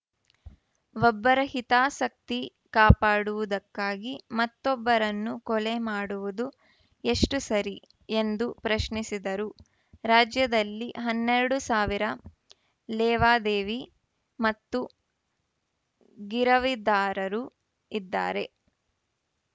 ಒಬ್ಬರ ಹಿತಾಸಕ್ತಿ ಕಾಪಾಡುವುದಕ್ಕಾಗಿ ಮತ್ತೊಬ್ಬರನ್ನು ಕೊಲೆ ಮಾಡುವುದು ಎಷ್ಟುಸರಿ ಎಂದು ಪ್ರಶ್ನಿಸಿದರು ರಾಜ್ಯದಲ್ಲಿ ಹನ್ನೆರಡು ಸಾವಿರ ಲೇವಾದೇವಿ ಮತ್ತು ಗಿರವಿದಾರರು ಇದ್ದಾರೆ